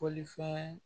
Bolifɛn